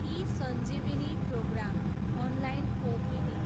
eSanjeevani program, online OPD